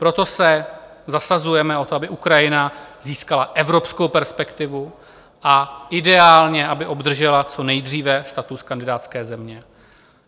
Proto se zasazujeme o to, aby Ukrajina získala evropskou perspektivu a ideálně aby obdržela co nejdříve status kandidátské země.